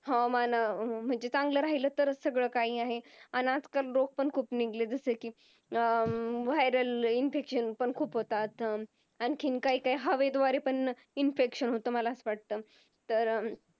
हवामान अह म्हणजे चांगल राहिला तरच सगळंकाही आहे अन आजकाल लोक पण खूप Niglection साराखी Viral Infection पण खूप होतात. आणखीन काही काही हवेद्वारे पण Infection होत असं मला वाटत